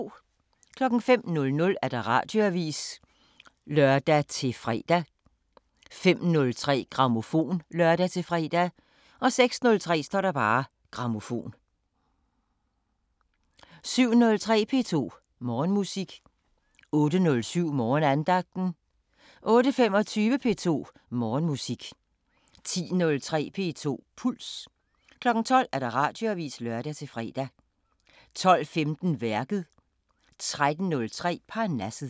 05:00: Radioavisen (lør-fre) 05:03: Grammofon (lør-fre) 06:03: Grammofon 07:03: P2 Morgenmusik 08:07: Morgenandagten 08:25: P2 Morgenmusik 10:03: P2 Puls 12:00: Radioavisen (lør-fre) 12:15: Værket 13:03: Parnasset